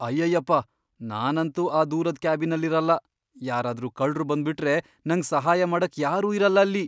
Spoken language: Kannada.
ಅಯ್ಯಯ್ಯಪ್ಪ! ನಾನಂತೂ ಆ ದೂರದ್ ಕ್ಯಾಬಿನ್ನಲ್ ಇರಲ್ಲ, ಯಾರಾದ್ರೂ ಕಳ್ರು ಬಂದ್ಬಿಟ್ರೆ ನಂಗ್ ಸಹಾಯ ಮಾಡಕ್ ಯಾರೂ ಇರಲ್ಲ ಅಲ್ಲಿ.